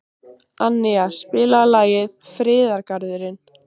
Annía, spilaðu lagið „Friðargarðurinn“.